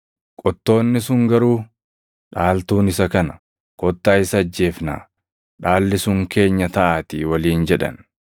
“Qottoonni sun garuu, ‘Dhaaltuun isa kana. Kottaa isa ajjeefnaa; dhaalli sun keenya taʼaatii’ waliin jedhan.